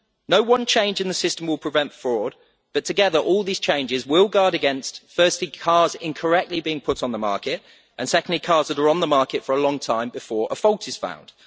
No one change in the system will prevent fraud, but together all these changes will guard against, firstly, cars incorrectly being put on the market, and, secondly, cars being on the market for a long time before a fault is found.